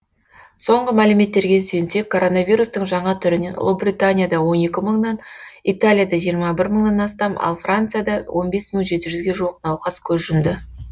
соңғы мәліметтерге сүйенсек коронавирустың жаңа түрінен ұлыбританияда он екі мыңнан италияда жиырма бір мыңнан астам ал францияда он бес мың жеті жүзге жуық науқас көз жұмды